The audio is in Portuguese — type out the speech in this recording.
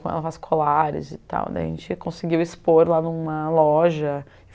ela faz colares e tal. Daí a gente conseguiu expor lá em uma loja.